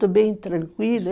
bem tranquila.